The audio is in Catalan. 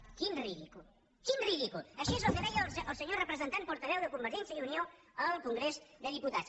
quin ridícul quin ridícul això és el que deia el senyor representant portaveu de convergència i unió al congrés dels diputats